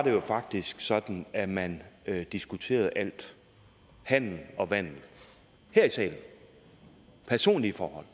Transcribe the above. jo faktisk sådan at man diskuterede alt handel og vandel og personlige forhold